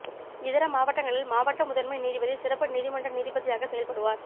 இதர மாவட்டங்களில் மாவட்ட முதன்மை நீதிபதி சிறப்பு நீதிமன்ற நீதிபதியாக செயல்படுவார்